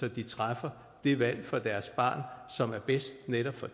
at de træffer det valg for deres barn som er bedst netop for